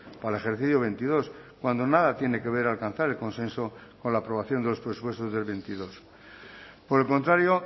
para el ejercicio veintidós cuando nada tiene que ver alcanzar el consenso con la aprobación de los presupuestos del veintidós por el contrario